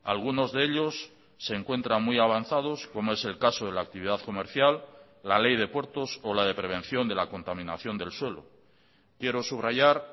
algunos de ellos se encuentran muy avanzados como es el caso de la actividad comercial la ley de puertos o la de prevención de la contaminación del suelo quiero subrayar